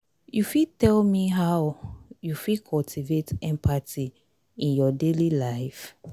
i know say empathy na di ability to understand and share di feelings of anoda pesin.